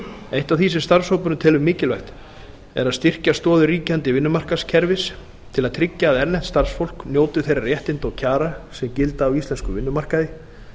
eitt af því sem starfshópurinn telur mikilvægt er að styrkja stoðir ríkjandi vinnumarkaðskerfis til að tryggja að erlent starfsfólk njóti þeirra réttinda og kjara sem gilda á íslenskum vinnumarkaði